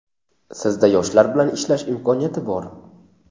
Sizda yoshlar bilan ishlash imkoniyati bor!.